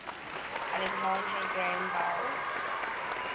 alexander graham bell